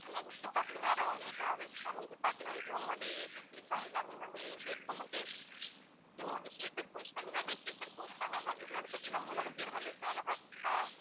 next பார்த்தீங்கன்னா royal travelsma'am இது பார்த்தீங்கன்னா இதுவும் வந்து ACseat தான் எல்லாமே வந்து AC இருக்கு உங்களுக்கு AC இதுவும் வந்து sleeper coach தான் எல்லாமே sleeper coach தான் ma'am இது வந்து பார்த்தீங்கன்னா மூணு பேர் வந்து அழகா ஆஹ்